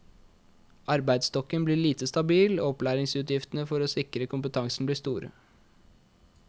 Arbeidsstokken blir lite stabil, og opplæringsutgiftene for å sikre kompetansen blir store.